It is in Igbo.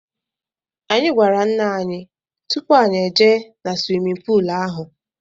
Anyị gwara ńnà anyị tụpụ anyị ejee na swimin poolu ahụ.